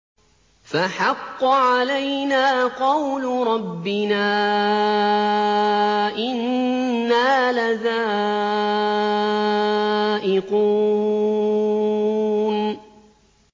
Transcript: فَحَقَّ عَلَيْنَا قَوْلُ رَبِّنَا ۖ إِنَّا لَذَائِقُونَ